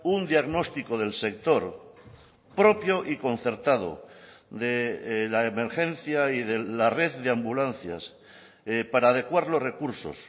un diagnóstico del sector propio y concertado de la emergencia y de la red de ambulancias para adecuar los recursos